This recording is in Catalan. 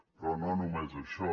però no només això